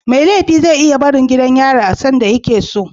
Mai laifi ze iya barin gidan yari a sanda yakeso